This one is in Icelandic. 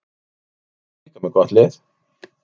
En við erum líka með gott lið.